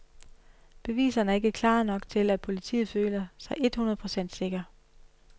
Beviserne er ikke klare nok til, at politiet føler sig et hundrede procent sikker.